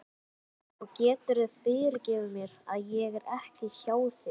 Og geturðu fyrirgefið mér að ég er ekki hjá þér?